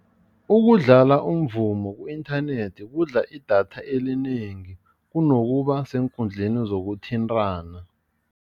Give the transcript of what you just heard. Ukudlala umvumo ku-inthanethi kudla idatha elinengi kunokuba seenkundleni zokuthintana.